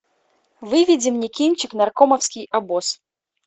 выведи мне кинчик наркомовский обоз